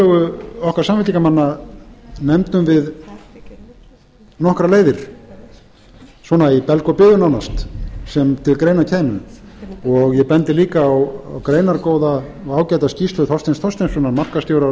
tillögu okkar samfylkingarmanna nefndum við nokkrar leiðir svona í belg og biðu nánast sem til greina kæmu og ég bendi líka á greinargóða og ágæta skýrslu þorsteins þorsteinssonar markaðsstjóra